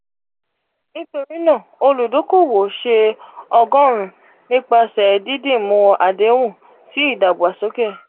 nitori naa oludokowo ṣe ọgọrun-un nipasẹ didimu adehun si idagbasoke.